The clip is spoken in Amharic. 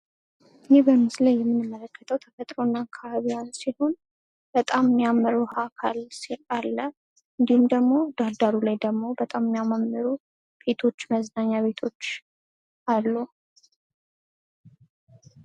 ይህ በምስሉ የምንመለከተው ተፈጥሮና አካባቢዋን ሲሆን በጣም የሚያምር የውሃ አካል አለ። እንዲሁም ደግሞ ዳር ዳሩ ላይ በጣም የሚያማርሩ ቤቶች መዝናኛ ቤቶች አሉ።